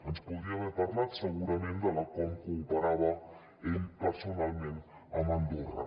ens podria haver parlat segurament de com cooperava ell personalment amb andorra